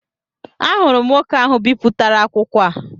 Ahụrụ m nwoke ahụ bipụtara akwụkwọ a